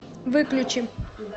выключи